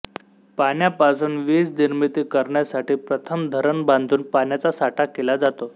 पाण्यापासुन विजनिर्मिती करण्यासाठी प्रथम धरण बांधून पाण्याचा साठा केला जातो